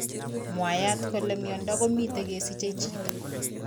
Mwaat kole miondo komitei kesiche chito